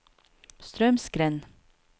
Straumsgrend